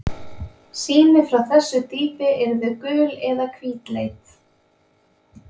Sýni frá þessu dýpi yrðu gul eða hvítleit.